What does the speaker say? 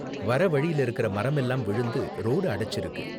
வர வழில இருக்குற மரம் எல்லாம் விழுந்து ரோடு அடைச்சிருக்கு.